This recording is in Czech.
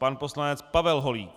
Pan poslanec Pavel Holík.